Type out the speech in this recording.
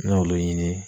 N y'olu ɲini